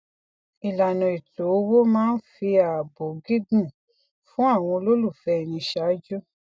ilana ètò owó máa ń fi ààbò gígùn fún àwọn olólùfé ẹni ṣáájú